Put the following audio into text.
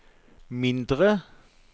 mindre